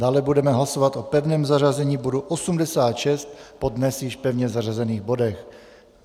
Dále budeme hlasovat o pevném zařazení bodu 86 po dnes již pevně zařazených bodech.